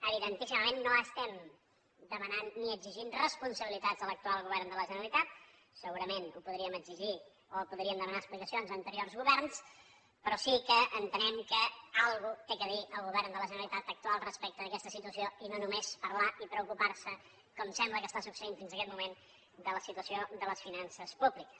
evidentíssimament no estem demanant ni exigint responsabilitats a l’actual govern de la generalitat segurament les podríem exigir o podríem demanar explicacions a anteriors governs però sí que entenem que alguna cosa ha de dir el govern de la generalitat actual respecte d’aquesta situació i no només parlar i preocupar se com sembla que està succeint fins aquest moment de la situació de les finances públiques